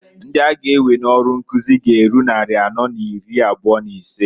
Ndi a ga ewe n'ọrụ nkuzi g'eru nnari anọọ n'iri abụa n'isee.